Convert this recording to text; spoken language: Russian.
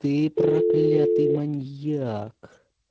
ты проклятый маньяк